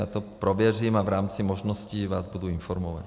Já to prověřím a v rámci možností vás budu informovat.